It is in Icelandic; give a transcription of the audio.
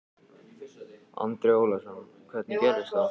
Andri Ólafsson: Hvernig gerðist það?